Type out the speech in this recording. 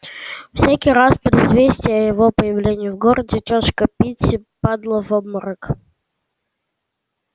всякий раз при известии о его появлении в городе тётушка питти падала в обморок